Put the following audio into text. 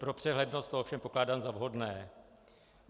Pro přehlednost to ovšem pokládám za vhodné.